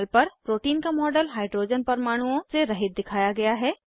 panel पर protein का model hydrogen परमाणुओं से रहित दिखाया गया है